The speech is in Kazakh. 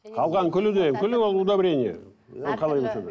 қалған күлі де күл ол удобрение қалай болса да